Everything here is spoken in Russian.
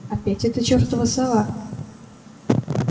опять эта чертова сова